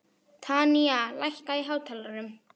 Tanya, lækkaðu í hátalaranum.